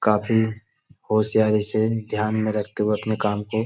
काफी होशियारी से ध्यान में रखते हुए अपने काम को --